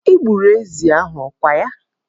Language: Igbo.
Ị gburu ezi ahụ, ọ kwa ya?